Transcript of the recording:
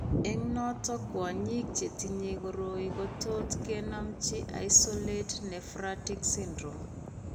Eng' noton kwonyik chetinye koroi kotot kenomchi isolated nephratic syndrome